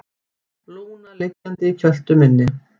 Lúna liggjandi í kjöltu minni.